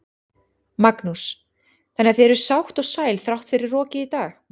Magnús: Þannig að þið eruð sátt og sæl þrátt fyrir rokið í dag?